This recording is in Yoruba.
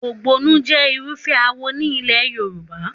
Ògbóni jẹ́ Irúfẹ́ awo ní ilẹ̀ Yorùbá.